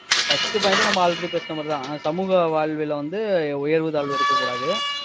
first point உ நம்ம already பேசின மாதிரிதான் அஹ் சமூக வாழ்வுல வந்து உயர்வு, தாழ்வு இருக்கக்கூடாது